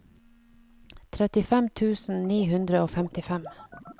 trettifem tusen ni hundre og femtifem